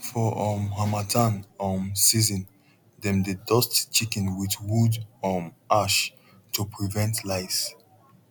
for um harmattan um season dem dey dust chicken with wood um ash to prevent lice